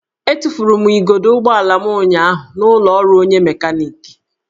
Etufuru m igodo ụgbọala m ụnyaahụ n'ụlọ ọrụ onye mekaniki